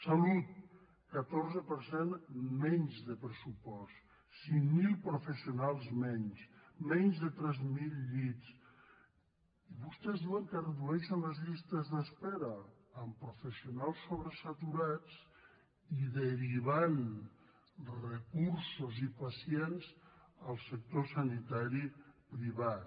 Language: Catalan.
salut catorze per cent menys de pressupost cinc mil professionals menys menys de tres mil llits i vostès diuen que redueixen les llistes d’espera amb professionals sobresaturats i derivant recursos i pacients al sector sanitari privat